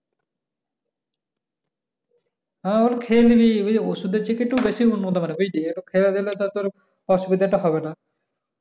হ্যাঁ খেয়ে নিলি ওষুধ চেয়ে একটু বেশি উন্নত হতে পারে বুঝলি খেয়ে নিলে তোর অসুবিধ টা হবে না